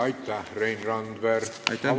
Aitäh, Rein Randver!